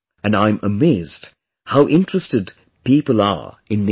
and I am amazed how interested people are in nature